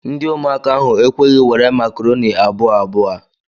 Ndi umuaka ahu ekweghi were Macaroni abua abua